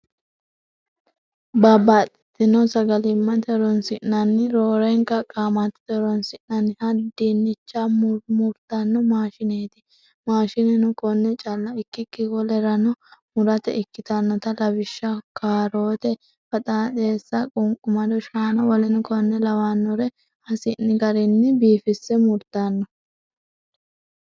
babbaxxitino sagalimmate horonsi'nanni roorenka qaamattote horonsi'nanniha dinnicha murmurtanno maashineeti. Mashineno konne calla ikkikki wolereno murate ikkitannote. Lawishshaho, kaaroote, baxaaxeessa, qunqumado shaana wkl lawannore hasi'ni garinni biifisse murtanno.